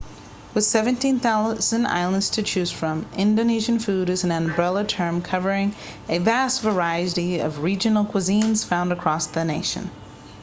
with 17,000 islands to choose from indonesian food is an umbrella term covering a vast variety of regional cuisines found across the nation